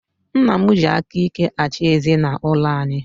Nna m ji aka ike achị ezinaụlọ anyi